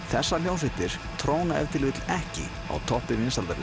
þessar hljómsveitir tróna ef til vill ekki á toppi vinsældarlistanna